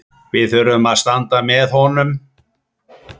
Við þurfum að standa með honum